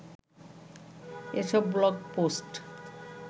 এসব blog post